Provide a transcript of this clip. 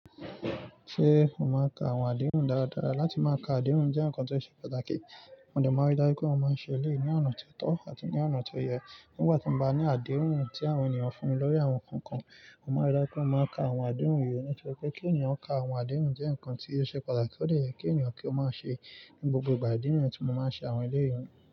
Ṣé o máa ń ka àwọn àdéhùn dára dára? Láti má ka àdéhùn jẹ́ nǹkan tó ṣe pàtàkì. Mọ dẹ́ máa rí dájú pé mọ máa ń ṣe elẹ́yìi ní ọ̀nà tó tọ́ àti ní ọ̀nà tó yẹ. Nígbà tí mo bá ní àdéhùn tí àwọn ènìyàn fún mi lórí àwọn nǹkan kan, mo máa rí dájú pé mo máa ka àwọn àdéhùn yìí. Nítorí pé kí ènìyàn ka àwọn àdéhùn jẹ́ nǹkan tí ó ṣe pàtàkì ó dẹ̀ yẹ kí ènìyàn kí ó má ṣe ní gbogbo ìgbà. Ìdí nìyẹn ti mọ máa ń ṣe àwọn eléyìí.